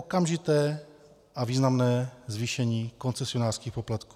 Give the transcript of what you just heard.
Okamžité a významné zvýšení koncesionářských poplatků.